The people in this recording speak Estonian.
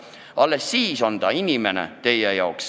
Alles siis on ta justkui inimene.